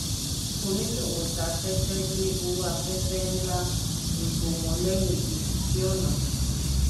oníṣòwò ta tẹ́tẹ́ lé owó afẹ́fẹ́ ń lá egbò wọn lẹ́yìn bí kò sí ọ̀nà.